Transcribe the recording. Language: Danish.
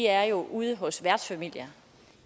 er ude hos værtsfamilier